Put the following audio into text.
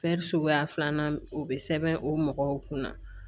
suguya filanan o bɛ sɛbɛn o mɔgɔw kunna